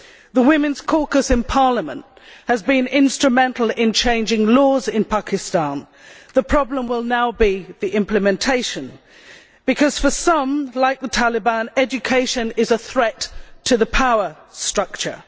The women's caucus in the parliament has been instrumental in changing the laws in Pakistan. The problem will now be the implementation, because for some, like the Taliban, education is a threat to the power structure.